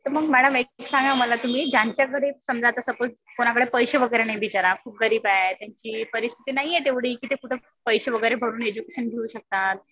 तर मग मॅडम एक सांगा मला तुम्ही ज्यांच्या घरी समजा आता सपोज कुणाकडे पैशे वगैरे नाही बिचारा खूप गरीब आहे. त्याची परिस्थिती नाहीये तेवढी कि कुठं पैशे वगैरे भरून एज्युकेशन घेऊ शकतात.